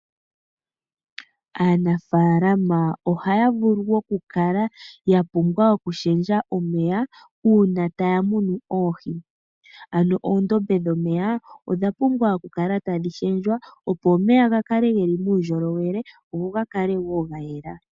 Aanafalama ohaya vulu okukala ya pumbwa okushendja omeya uuna taya munu oohi ano oondombe dhomeya odha pumbwa okukala tadhi shendjwa opo omeya ga kale geli muundjolowele goga kale woo ngayela .